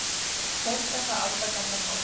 Fordæma aldagamla hátíð